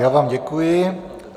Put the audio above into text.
Já vám děkuji.